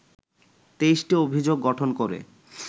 ২৩টি অভিযোগ গঠন করে